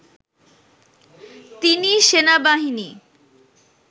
তিনি সেনাবাহিনী